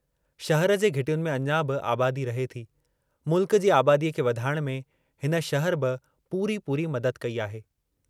शहर जे घिटियुनि में अञा बि आबादी रहे थी, मुल्क जी आबादीअ खे वधाइण में हिन शहर बि पूरी पूरी मदद कई आहे।